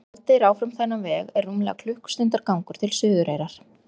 En ef haldið er áfram þennan veg er rúmlega klukkustundar gangur til Suðureyrar.